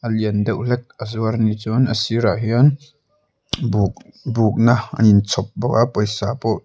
a lian deuh hlek a zuar a ni chuan a sir ah hian buk na a in chhawp bawk a pawisa pawh--